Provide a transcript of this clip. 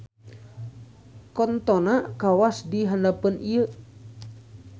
Contona kawas di handapeun ieu